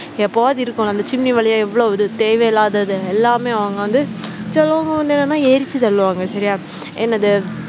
எப்பவாவது இருக்கும் இல்ல அந்த chimney வழியா எவ்வளவு இது தேவையில்லாதது எல்லாமே அவங்க வந்து சிலவுங்க வந்து என்னனா எரிச்சி தள்ளுவாங்க சரியா என்னது